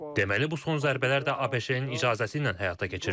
Deməli bu son zərbələr də ABŞ-ın icazəsi ilə həyata keçirilib.